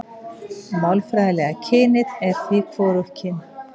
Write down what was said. Málfræðilega kynið er því hvorugkyn.